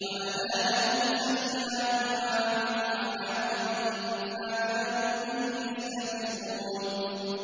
وَبَدَا لَهُمْ سَيِّئَاتُ مَا عَمِلُوا وَحَاقَ بِهِم مَّا كَانُوا بِهِ يَسْتَهْزِئُونَ